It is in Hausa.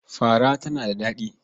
Fara tana da daɗi.